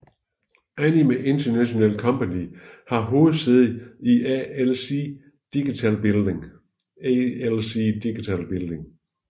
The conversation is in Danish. Anime International Company har hovedsæde i AIC Digital Building